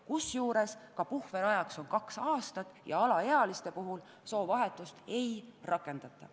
Kusjuures puhveraeg on kaks aastat ja alaealistele soovahetust ei võimaldata.